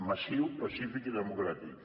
massiu pacífic i democràtic